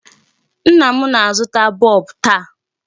Nna m na-azụta bulb taa.